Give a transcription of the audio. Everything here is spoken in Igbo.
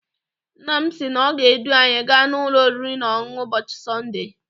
Nna m sị na ọ ga- edu anyị gaa n'ụlọ oriri na ọṅụṅụ ụbọchị Sọnde.